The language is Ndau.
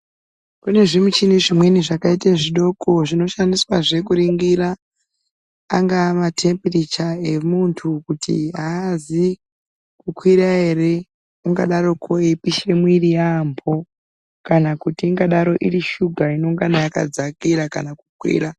Kune zvimichini zvimweni zvakaite zvidoko zvinoshandiswazve kuringira angaa matemburicha emuntu kuti haazi kukwira ere ungadaroko eipishe mwiiri yaambo, kana kuti ingadaro iri shuga inongana yakadzakira kana kukwira.